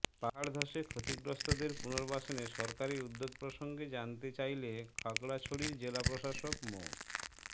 পাহাড় ধসে ক্ষতিগ্রস্তদের পুনর্বাসনে সরকারি উদ্যোগ প্রসঙ্গে জানতে চাইলে খাগড়াছড়ির জেলা প্রশাসক মো